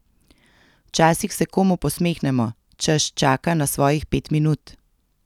Včasih se komu posmehnemo, češ čaka na svojih pet minut.